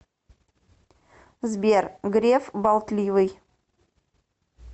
сбер греф болтливый